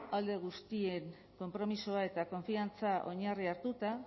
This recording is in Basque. alde guztien konpromisoa eta konfiantza oinarri hartuta